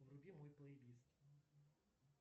вруби мой плейлист